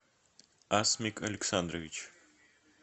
асмик александрович